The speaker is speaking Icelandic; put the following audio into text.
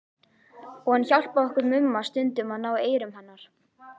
Og hann hjálpaði okkur Mumma stundum að ná eyrum hennar.